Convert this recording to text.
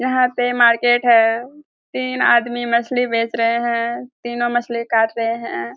यहाँ पे मार्केट है। तीन आदमी मछली बेच रहे हैं तीनों मछली काट रहे हैं।